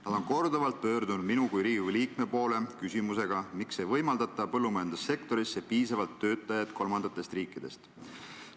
Nad on korduvalt pöördunud minu kui Riigikogu liikme poole küsimusega, miks ei võimaldata võtta põllumajandussektorisse tööle piisavalt töötajaid kolmandatest riikidest.